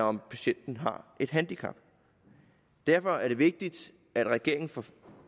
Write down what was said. om patienten har et handicap derfor er det vigtigt at regeringen får